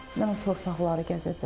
Mən o torpaqları gəzəcəm.